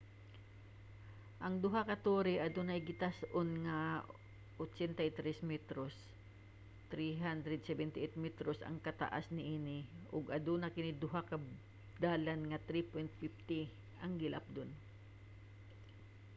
ang duha ka tore adunay gitas-on nga 83 metros 378 metros ang kataas niini ug aduna kini duha ka dalan nga 3.50 ang gilapdon